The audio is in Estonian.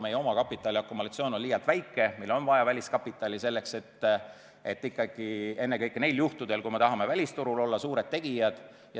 Meie oma kapitali akumulatsioon on liialt väike, meile on vaja väliskapitali, ikkagi ennekõike neil juhtudel, kui me tahame välisturul olla suured tegijad.